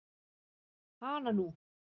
Hana nú.